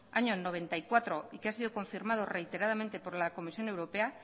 año mil novecientos noventa y cuatro y que ha sido confirmado reiteradamente por la comisión europea